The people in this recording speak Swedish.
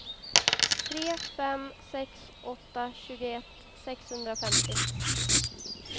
tre fem sex åtta tjugoett sexhundrafemtio